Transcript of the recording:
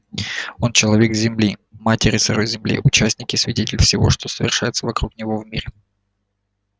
он человек земли матери сырой земли участник и свидетель всего что совершается вокруг него в мире